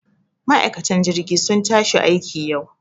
Ma'aikan jirgi sun tashi aikiin yau